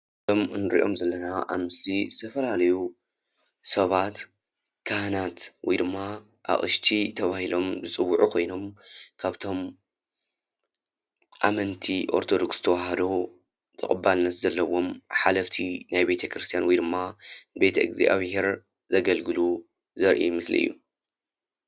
እንሪኦም ዘለና ኣብ ምስሊ ዝተፈላለዩ ሰባት፣ ካህናት ወይ ድማ ኣቅሽቲ ተባሂሎም ዝፅዉዑ ኮይኖም ካብቶም ኣመንቲ ኦርቶዶክስ ተዋህዶ ተቐባልነት ዘለዎም ሓለፍቲ ናይ ቤተክርስትያን ወይ ድማ ቤተ እግዚኣብሄር ዘገልግሉ ዘርኢ ምስሊ እዩ።